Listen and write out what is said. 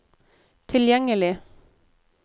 tilgjengelig